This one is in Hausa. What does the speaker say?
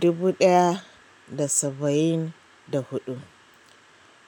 dubu ɗaya da saba'in da huɗu.